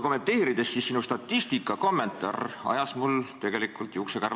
Sinu statistika kommentaar ajas mul tegelikult juuksekarvad püsti.